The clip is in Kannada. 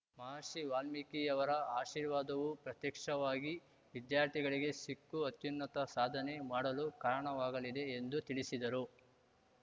ಮಹರ್ಷಿ ವಾಲ್ಮೀಕಿಯವರ ಆಶೀರ್ವಾದವು ಪ್ರತ್ಯಕ್ಷವಾಗಿ ವಿದ್ಯಾರ್ಥಿಗಳಿಗೆ ಸಿಕ್ಕು ಅತ್ಯುನ್ನತ ಸಾಧನೆ ಮಾಡಲು ಕಾರಣವಾಗಲಿದೆ ಎಂದು ತಿಳಿಸಿದರು